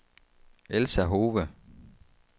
Elsa Hove